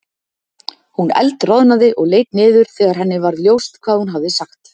Hún eldroðnaði og leit niður þegar henni varð ljóst hvað hún hafði sagt.